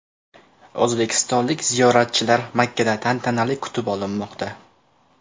O‘zbekistonlik ziyoratchilar Makkada tantanali kutib olinmoqda .